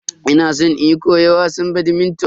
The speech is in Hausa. Ina san in koyi wasan "badminton"